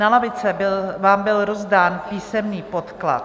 Na lavice vám byl rozdán písemný podklad.